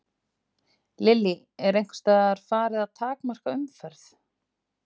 Lillý: Er einhvers staðar farið að takmarka umferð?